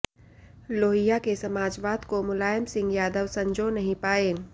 लोहिया के समाजवाद को मुलायम सिंह यादव संजो नहीं पाए